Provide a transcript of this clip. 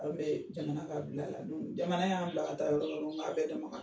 An bɛ jamana ka bila la jamana y'an bila ka taa yɔrɔ yɔrɔ k'a bɛɛ